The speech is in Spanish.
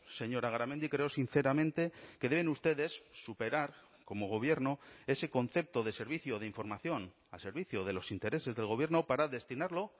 señora garamendi creo sinceramente que deben ustedes superar como gobierno ese concepto de servicio de información al servicio de los intereses del gobierno para destinarlo